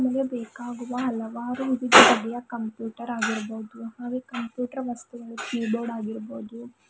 ನಮಗೆ ಬೇಕಾಗುವ ಹಲವಾರು ರೀತಿಯ ಕಂಪ್ಯುಟರ್ ಆಗಿರಬಹುದು ಹಾಗೆ ಕಂಪ್ಯೂಟರ್ ವಸ್ತುಗಳು ಕೀ ಬೋರ್ಡ್ ಆಗಿರ್ಬಹುದು --